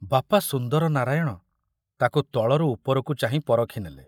ବାପା ସୁନ୍ଦର ନାରାୟଣ ତାକୁ ତଳରୁ ଉପରକୁ ଚାହିଁ ପରଖି ନେଲେ।